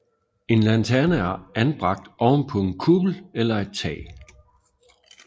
En lanterne er anbragt oven på en kuppel eller et tag